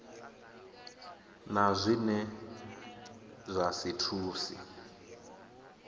na zwine zwa si thuse